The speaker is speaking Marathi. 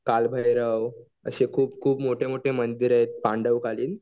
कालभैरव असे खूप खुप मोठे मोठे मंदिर आहेत पांडवकालीन.